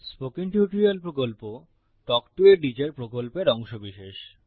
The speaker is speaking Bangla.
স্পোকেন টিউটোরিয়াল প্রকল্প তাল্ক টো a টিচার প্রকল্পের অংশবিশেষ